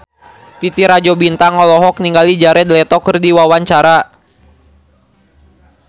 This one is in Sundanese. Titi Rajo Bintang olohok ningali Jared Leto keur diwawancara